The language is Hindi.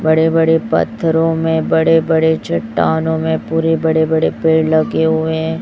बड़े बड़े पत्थरों में बड़े बड़े चट्टानो मैं पुरे बड़े बड़े पेड़ लगे हुए हैं।